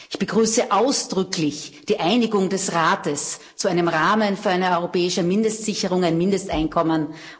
Ich begrüße ausdrücklich die Einigung des Rates zu einem Rahmen für eine europäische Mindestsicherung ein Mindesteinkommen.